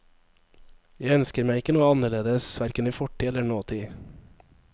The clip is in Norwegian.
Jeg ønsker meg ikke noe annerledes, hverken i fortid eller nåtid.